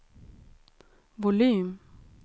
volym